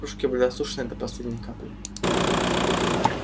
кружки были осушены до последней капли